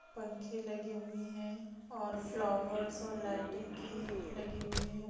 पंखे लगे हुए हैं और फ्लावर्स और लाइटिंग की लगी हुई हैं।